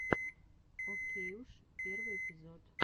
окейуш первый эпизод